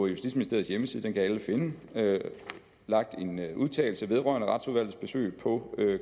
justitsministeriets hjemmeside den kan alle finde har lagt en udtalelse vedrørende retsudvalgets besøg på